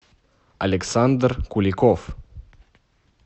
александр куликов